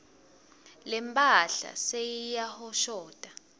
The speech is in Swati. lemphahla seyiyahoshota